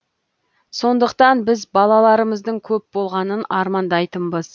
сондықтан біз балаларымыздың көп болғанын армандайтынбыз